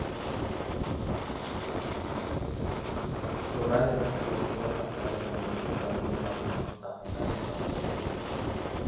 еуразия құрлығы әрдайым әлемдік дамудың алдыңғы сапында болады әрине